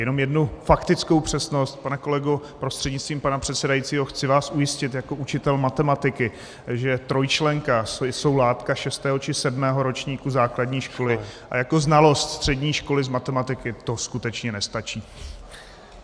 Jenom jednu faktickou přesnost - pane kolego prostřednictvím pana předsedajícího, chci vás ujistit jako učitel matematiky, že trojčlenka je látka šestého či sedmého ročníku základní školy a jako znalost střední školy z matematiky to skutečně nestačí.